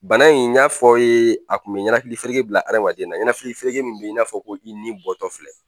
Bana in n y'a fɔ aw ye a tun bɛ ninahakilifereke bila adamaden na ninakilifereke min bɛ i n'a fɔ ko i ni bɔtɔ filɛ